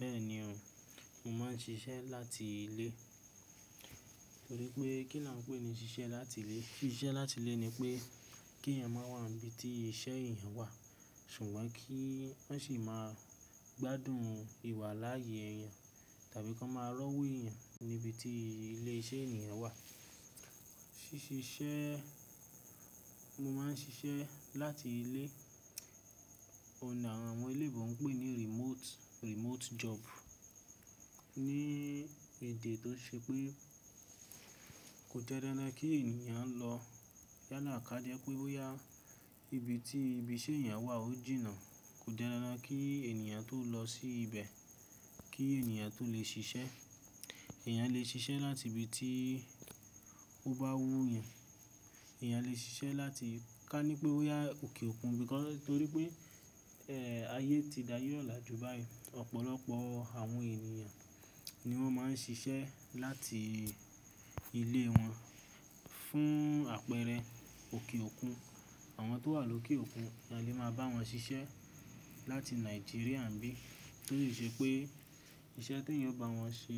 Bẹ́ẹ̀ni o, mo máa ń ṣiṣẹ́ láti ilé. Torí pé kí lá ń pèé ni ṣiṣẹ́ láti ilé, ṣiṣẹ́ láti ilé ni pé kí èèyàn má wà níbi tí iṣẹ́ èèyàn wà, ṣùgbọ́n kí wọ́n sì máa gbádùn ìwà láyé èèyàn tàbí kí wọ́n máa rọwó èèyàn níbi tí ilé iṣẹ́ ènìyàn wà. Síṣiṣẹ́, mo máa ń ṣiṣẹ́ láti ilé, òǹà àwọn ilé ìwé ń pèé ní remote, remote job. Ní èdè tó ṣe pé kò jẹ́ dándán kí ènìyàn lọ yálàkájẹ́ pé bóyá ibi tí ibi iṣẹ́ èèyàn wà ó jìnà, kò jẹ́ dáradára kí ènìyàn tó lọ sí ibẹ̀ kí ènìyàn tó lè ṣiṣẹ́. Èèyàn lè ṣiṣẹ́ láti ibi tí ó bá wú èèyàn, èèyàn lè ṣiṣẹ́ láti ká ní pé ó yá òkè òkun, torí pé, ẹ̀, ayé ti dáyí ọ̀lá jù báyìí, ọ̀pọ̀lọpọ̀ àwọn ènìyàn ni wọ́n máa ń ṣiṣẹ́ láti ilé wọn fún àpẹrẹ òkè òkun. Àwọn tó wà lókè òkun, a lè máa bá wọn ṣiṣẹ́ láti Nàìjíríà ń bí, tó sì ṣe pé iṣẹ́ tí èèyàn bá wọn ṣe,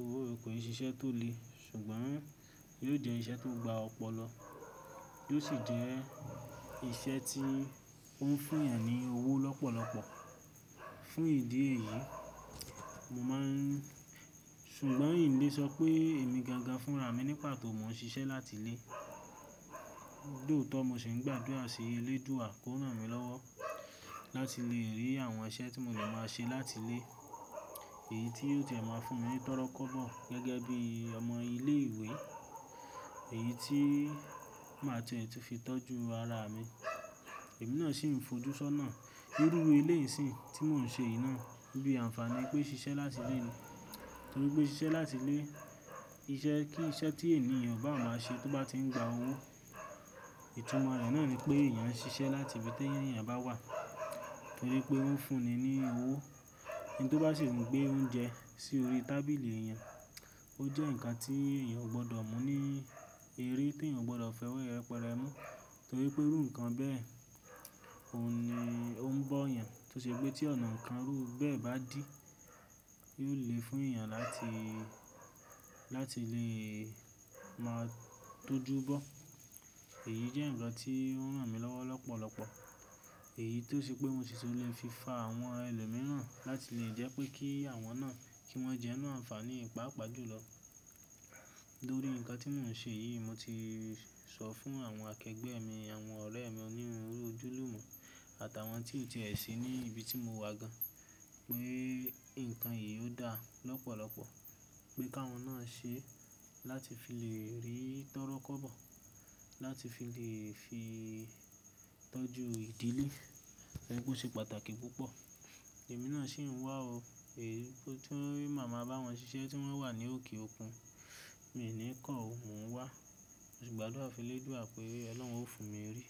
owó ò kì í ṣiṣẹ́ tó lè, ṣùgbọ́n yóò jẹ́ iṣẹ́ tó gba ọ̀pọ̀lọ, yóò sì jẹ́ iṣẹ́ tí ó ń fún èèyàn ní owó lọ́pọ̀lọ́pọ̀. Fún ìdí èyí, mo máa ń, ṣùgbọ́n ìlé sọ pé èmí gaga fún ràmí nípàtọ̀ mó ń ṣiṣẹ́ láti ilé, jóòtọ́ mó ṣe ń gbàdúrà sí elédúwà kó rànmí lọ́wọ́ láti lè rí àwọn iṣẹ́ tí mò lè máa ṣe láti ilé, èyí tí yóò jẹ́ máa fún mi tọ́rọkọ́ bọ̀ gẹ́gẹ́ bí ọmọ ilé-ìwé, èyí tí màá tó lè fi tọ́jú ara mi. Èmí náà ṣì ń fojú ṣọ́nà nínú ilé-ìsìn tí mò ń ṣe yìí náà, níbi àǹfààní pé ṣiṣẹ́ láti ilé ni. Torí pé ṣiṣẹ́ láti ilé, iṣẹ́, kí iṣẹ́ tí ènìyàn bá máa ṣe tó bá ti ń gba owó, ìtúmọ̀ rẹ náà ni pé èèyàn ń ṣiṣẹ́ láti ibi tí èèyàn bá wà torí pé ó ń fún ni ní owó. Ẹni tó bá ṣì ń gbé oúnjẹ sí orí tábìlì èèyàn, ó jẹ́ nǹkan tí èèyàn ò gbọdọ̀ mú ní, èré tí èèyàn ò gbọdọ̀ fẹ́ wẹ́rẹ́ pẹrẹ mú, torí pé iru ǹǹkan bẹ́ẹ̀ ò ní, ó ń bọ́ èèyàn. Tó ṣe pé tí ọ̀nà kan rú bẹ́ẹ̀ bá dí, yóò lè fún èèyàn láti, láti lè máa tójú bọ́. Èyí jẹ́ nǹkan tí ó ń rànmí lọ́wọ́ lọ́pọ̀lọ́pọ̀. Èyí tó ṣe pé mo sì tó lè fi fa àwọn ẹlòmíràn láti lè jẹ́ pé kí àwọn náà, kí wọ́n jẹ́nù àǹfààní pàápàá jùlọ. Lorí nǹkan tí mò ń ṣe yìí, mo ti sọ fún àwọn àkẹ́gbẹ́ mi, àwọn ọ̀rẹ́ mi onírúrú ojúlùmú àtàwọn tí ò tì í ṣe ní ibi tí mo wà gan, pé nǹkan yìí ó dáa lọ́pọ̀lọ́pọ̀, pé ká wọ́n náà ṣe láti fi lè rí tọ́rọkọ́ bọ̀, láti fi lè fi tọ́jú ìdílé, pé kò ṣe pàtàkì púpọ̀. Èmí náà ṣì ń wà ó, èyí tó màá máa bá wọn ṣiṣẹ́ tí wọ́n wà ní òkè òkun, mi ò ní kọ̀ ó, mò ń wà. Mó ṣì gbàdúrà sí elédúwà pé "Ọlọ́run ó fún mi orí".